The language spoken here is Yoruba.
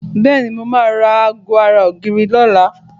Bẹ́ẹ̀ni, mo máa ra aago ara ògiri lọ́la